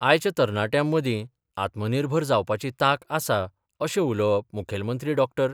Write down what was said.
आयच्या तरणाट्यां मदीं आत्मनिर्भर जावपाची तांक आसा अशें उलोवप मुखेलमंत्री डॉ.